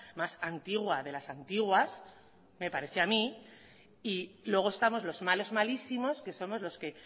más antigua de las antiguas me parece a mí y luego estamos los malos malísimos que somos los que